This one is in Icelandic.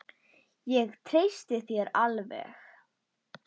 Ég treysti þér alveg!